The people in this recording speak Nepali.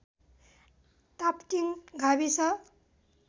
टापटिङ गाविस